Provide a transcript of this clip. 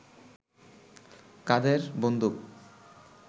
কাঁধের বন্দুক